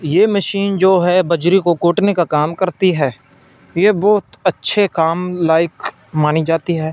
ये मशीन जो है बजरी को कूटने का काम करती है ये बहुत अच्छे काम लाइक मानी जाती है।